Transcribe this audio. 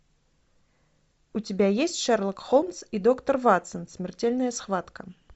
у тебя есть шерлок холмс и доктор ватсон смертельная схватка